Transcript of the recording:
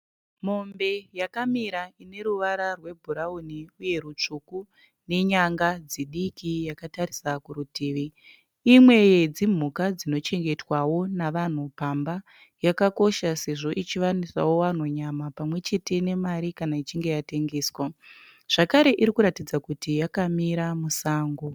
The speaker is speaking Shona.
Mombe yakamira ine ruvara rwebhurawuni uye rutsvuku nenyanga dzidiki yakatarisa kurutivi. Imwe yedzimhuka dzinochengetwawo navanhu pamba. Yakakosha sezvo ichiwanisawo vanhu nyama pamwe chete nemari kana ichinge yatengeswa zvakare iri kuratidza kuti yakamira musango.